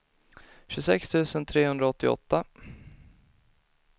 tjugosex tusen trehundraåttioåtta